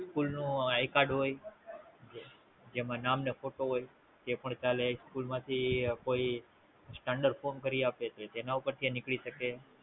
School નું I card હોય જેમાં નામ અને Photo હોય તે પણ ચાલે, School માં થી કોઈ Standard forum કરી આપે છે જેના ઉપેર થી નિકલી શકે